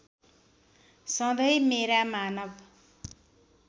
सधैँ मेरा मानव